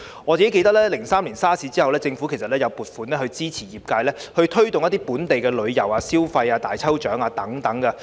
我記得在2003年的 SARS 後，政府曾撥款支持業界推動本地旅遊、消費、舉行大抽獎等。